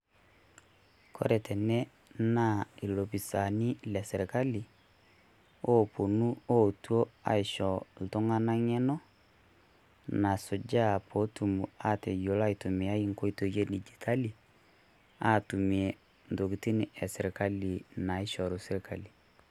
koree teene naa ilopisani lesirkali oetuoo aishoo iltunganak eng'eno nasuja petum atayiolo aitumiaa inkoitoi edigitali atumiee ntokiting esirkali naishoru sirkali